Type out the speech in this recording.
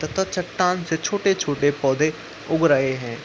तथा चट्टान से छोटे-छोटे पौधे उग रहे हैं।